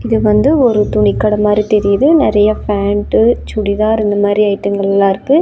இது வந்து ஒரு துணி கட மாரி தெரியுது நெறைய பேண்ட்டு சுடிதார் இந்த மாரி ஐட்டங்களாம் இருக்கு.